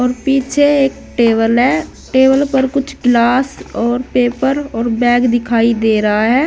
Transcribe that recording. पीछे एक टेबल है टेबल पर कुछ ग्लास और पेपर और बैग दिखाई दे रहा है।